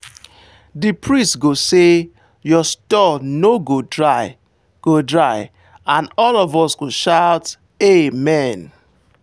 the priest go say "your store no go dry" go dry" and all of us go shout amen.